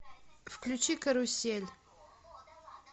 включи карусель